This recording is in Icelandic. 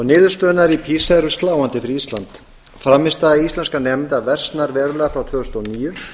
niðurstöðurnar í pisa eru sláandi fyrir ísland frammistaða íslenskra nemenda versnar verulega frá tvö þúsund og níu